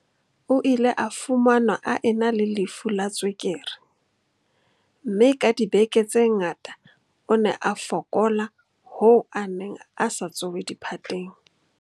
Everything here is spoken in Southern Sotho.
O ile a fumanwa a ena le lefu la tswekere, mme ka dibeke tse ngata o ne a fokola hoo a neng a sa tsohe diphateng.